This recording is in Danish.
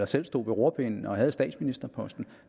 selv stod ved rorpinden og havde statsministerposten